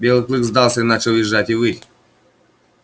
белый клык сдался и начал визжать и выть